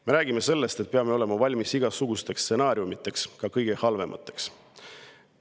Me räägime sellest, et peame olema valmis igasugusteks stsenaariumideks, ka kõige halvemateks.